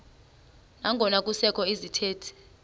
nangona kusekho izithethi